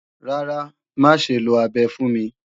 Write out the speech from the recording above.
Rárá, má ṣe lo abẹ fún mi